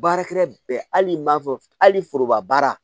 Baarakɛra bɛɛ hali n'i m'a fɔ hali foroba baara